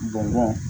Bɔn bɔn